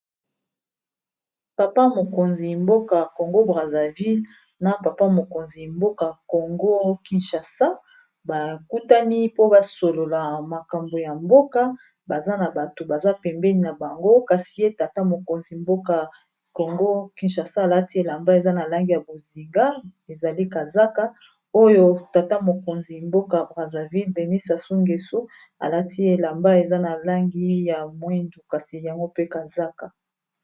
papa mokonzi mboka congo braserville na papa mokonzi mboka congo kinchasa bakutani po basolola makambo ya mboka baza na bato baza pembeni na bango kasie tata mokonzi mboka congo kinchasa alati elamba eza na langi ya boznga ezali kazaka oyo tata mokonzi mboka braserville denis asungesu alati elamba eza na langi ya mwindu kasi yango pe kazaka